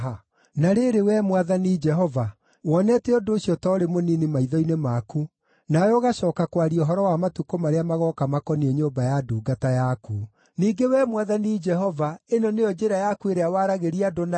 Na rĩrĩ, Wee Mwathani Jehova, wonete ũndũ ũcio ta ũrĩ mũnini maitho-inĩ maku, nawe ũgacooka kwaria ũhoro wa matukũ marĩa magooka makoniĩ nyũmba ya ndungata yaku. Ningĩ Wee Mwathani Jehova ĩno nĩyo njĩra yaku ĩrĩa waragĩria andũ nayo?